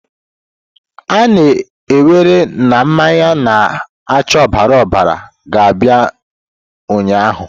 A na-ewere na mmanya na-acha ọbara ọbara ga-abịa ụnyaahụ!